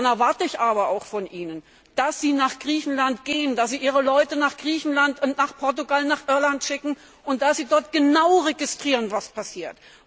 Dann erwarte ich aber auch von Ihnen, dass Sie nach Griechenland gehen, dass Sie Ihre Leute nach Griechenland, Portugal und Irland schicken und dass Sie dort genau registrieren, was passiert.